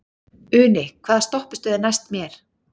Uni, hvaða stoppistöð er næst mér?